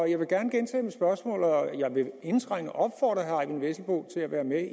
jeg vil gerne gentage mit spørgsmål og jeg vil indtrængende opfordre herre eyvind vesselbo til at være med